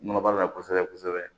Nɔgɔ b'a la kosɛbɛ kosɛbɛ